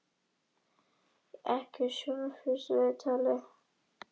Og ekki í sjónvarpsviðtali!